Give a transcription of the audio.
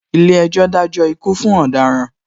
Ilé ejò dajo ikú fún ọ̀daràn